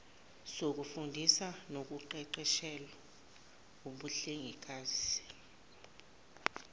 sokufundisa nokuqeqeshela ubuhlengikazi